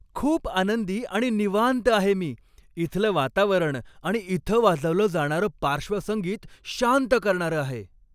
खूप आनंदी आणि निवांत आहे मी, इथलं वातावरण आणि इथं वाजवलं जाणारं पार्श्वसंगीत शांत करणारं आहे!